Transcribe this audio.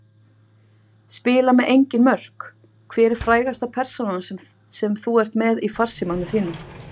Spila með engin mörk Hver er frægasta persónan sem þú ert með í farsímanum þínum?